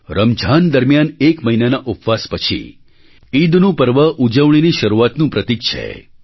રમઝાન દરમિયાન એક મહિનાના ઉપવાસ પછી ઈદનું પર્વ ઉજવણીની શરૂઆતનું પ્રતીક છે